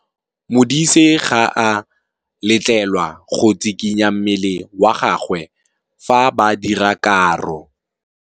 Modise ga a letlelelwa go tshikinya mmele wa gagwe fa ba dira karô.